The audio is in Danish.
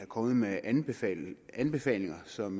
kommet med anbefalinger anbefalinger som